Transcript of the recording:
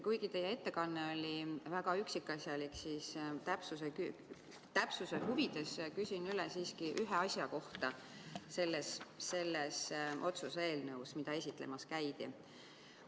Kuigi teie ettekanne oli väga üksikasjalik, siis täpsuse huvides küsin ühe asja selles otsuse eelnõus, mida esitlemas käidi, siiski üle.